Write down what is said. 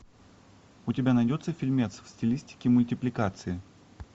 у тебя найдется фильмец в стилистике мультипликации